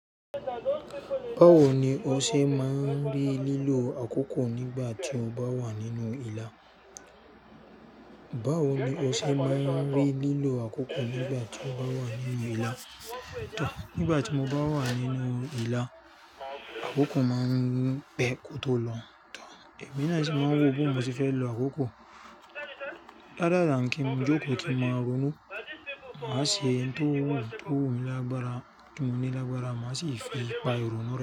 Báwo ni o ṣe máa ń rí lílo àkókò nígbà tí o bá wà nínú ìlà? Báwo ni o ṣe máa ń rí lílo àkókò nígbà tí o bá wà nínú ìlà? Nígbà tí mo bá wà nínú ìlà, àkókò máa ń pẹ́ kó tó lọ. Èmi náà sì máa ń wò pé mo sì fẹ́ lo àkókò. Rather than kí n jókòó kí n máa ronú, má sì ṣe ohun tó wù mí lágbára, tí mo ní lágbára, má sì fi pa èrò rẹ.